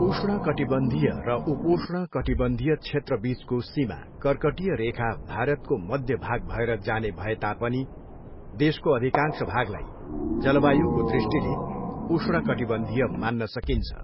उष्णकटिबन्धीय र उपोष्ण कटिबन्धीय क्षेत्रबिचको सीमा कर्कटीय रेखा भारतको मध्य भाग भएर जाने भए तापनि देशको अधिकांश भागलाई जलवायुको दृष्टिले उष्णकटिबन्धीय मान्न सकिन्छ।